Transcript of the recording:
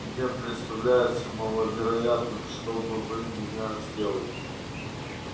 мне представляется маловероятным чтобы вы меня сделали